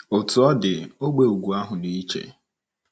Otú ọ dị, ógbè ugwu ahụ dị iche.